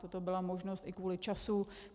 Toto byla možnost i kvůli času.